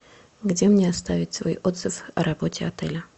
где мне оставить свой отзыв о работе отеля